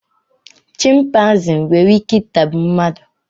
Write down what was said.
chịmpaizịn nwere Ike itagbu mmadụ